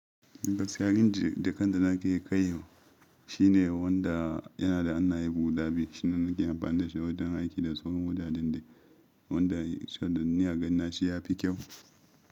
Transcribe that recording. Gaskiya rin da kanda nake kaiwa shine wanda yana da hannaye guda biyu. Shine nake amfani da shi wajen aiki da tsohon wajen da wanda sannan ni agani na, shi ya fi kyau.